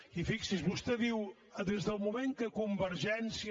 i fixi’s vostè diu des del moment que convergència